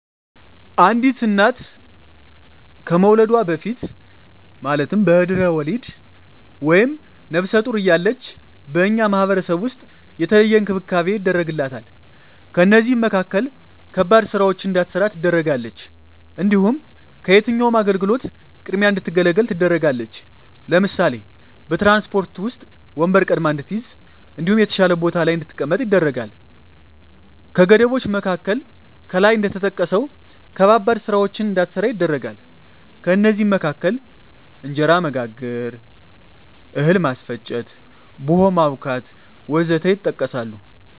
አንዲት እና ከመዉለዷ በፊት(በድሕረ ወሊድ)ወይም ነብሰ ጡር እያለች በእኛ ማህበረሰብ ዉስጥ የተለየ እንክብካቤ ይደረግላታል ከእነዚህም መካከል ከባድ ስራወችን እንዳትሰራ ትደረጋለች። እንዲሁም ከየትኛዉም አገልግሎት ቅድሚያ እንድትገለገል ትደረጋለች ለምሳሌ፦ በትራንስፖርት ዉስጥ ወንበር ቀድማ እንድትይዝ እንዲሁም የተሻለ ቦታ ላይ እንድትቀመጥ ይደረጋል። ከገደቦች መካከል ከላይ እንደተጠቀሰዉ ከባባድ ስራወችን እንዳትሰራ ይደረጋል ከእነዚህም መካከል እንጀራ መጋገር፣ እህል ማስፈጨት፣ ቡሆ ማቡካት ወዘተ ይጠቀሳል